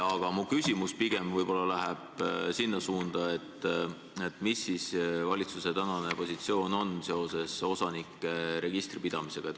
Aga mu küsimus läheb pigem võib-olla sinna suunda, mis siis on valitsuse tänane positsioon seoses osanike registri pidamisega.